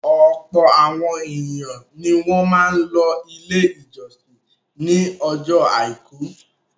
Ọ̀pọ̀ àwọn ènìyàn ni wọ́n máa ń lọ Ilé-ìjọsìn ní ọjọ́ àìkú.